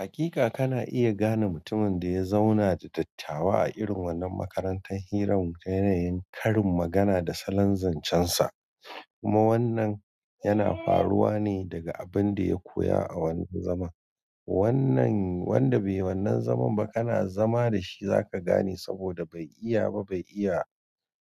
Hakika kana iya gane mutumin da ya zauna da dattawa a irin wannan makarantar hirar ta yanayin karin magana da salon zancensa. Kuma wannan yana faruwa ne daga abin da ya koya a wannan zaman. Wannan wanda bai wannan zaman ba kana zama da shi za ka gane saboda bai iya ba bai iya